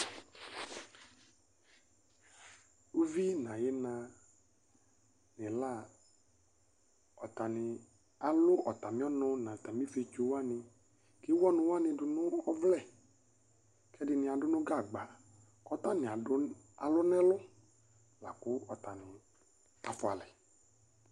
Ʋvi nʋ ayina nʋ ila atani alʋ ɔtmi ɔnʋ nʋ ɔtami ifetso wani kʋ ewʋ ɔnʋwani dʋnʋ ɔvlɛ Kʋ ɛdini adʋ nʋ gagba kʋ ɔtani alʋ nʋ ɛlʋ lakʋ ɔtani afʋ alɛ